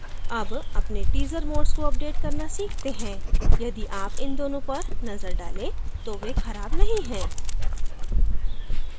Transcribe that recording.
अब अपने teaser modes को अपडेट करना सीखते हैं यदि आप इन दोनों पर नजर डालें तो वे खराब नहीं है